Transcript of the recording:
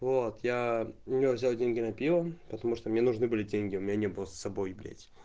вот я у него взял деньги на пиво потому что мне нужны были деньги у меня не было с собой блять